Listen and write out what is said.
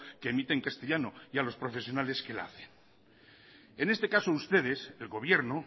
que emite en castellano y a los profesionales que la hacen en este caso ustedes el gobierno